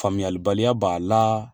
Faamuyalibaliya b'aa la